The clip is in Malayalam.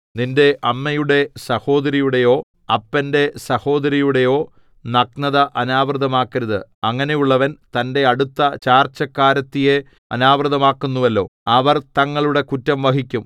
നിന്റെ അമ്മയുടെ സഹോദരിയുടെയോ അപ്പന്റെ സഹോദരിയുടെയോ നഗ്നത അനാവൃതമാക്കരുത് അങ്ങനെയുള്ളവൻ തന്റെ അടുത്ത ചാർച്ചക്കാരത്തിയെ അനാവൃതയാക്കുന്നുവല്ലോ അവർ തങ്ങളുടെ കുറ്റം വഹിക്കും